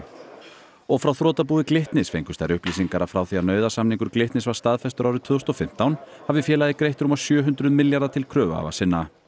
og frá þrotabúi Glitnis fengust þær upplýsingar að frá því að nauðasamningur Glitnis var staðfestur árið tvö þúsund og fimmtán hafi félagið greitt rúma sjö hundruð milljarða til kröfuhafa sinna